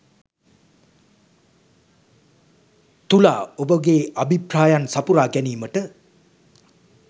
තුලා ඔබගේ අභිප්‍රායන් සපුරා ගැනීමට